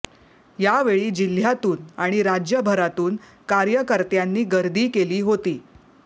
यावेळी जिल्ह्यातून आणि राज्यभरातून कार्यकर्त्यांनी गर्दी केली होती